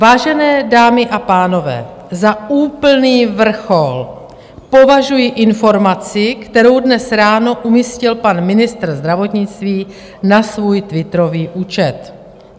Vážené dámy a pánové, za úplný vrchol považuji informaci, kterou dnes ráno umístil pan ministr zdravotnictví na svůj twitterový účet.